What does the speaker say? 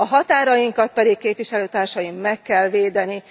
A határainkat pedig, képviselőtársaim, meg kell védeni!